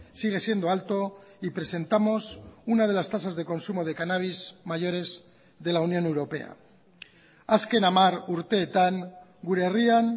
sigue siendo alto y presentamos una de las tasas de consumo de cannabis mayores de la unión europea azken hamar urteetan gure herrian